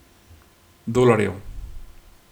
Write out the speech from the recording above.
Dolarjev.